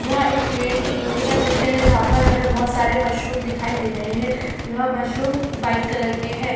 यह एक पेड़ के निचे का दृश्य है जहाँ पर हमे बहुत सारे मशरुम दिखाई दे रहें हैं यह मशरूम वाइट कलर के है।